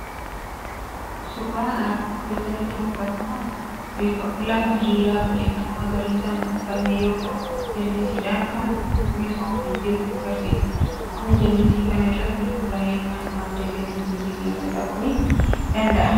Suuraan armaan oliitti nutti mul'atu kun lafa diriiraa biqiltuu magariisaan uwwifame yoo ta'u, jallisiidhaan kan kan misoomaa jiru agarsiisa. Qonni jallisii kana irratti hundaa'e kun madda galii biyya keenyaa ta'uun ni tajaajila.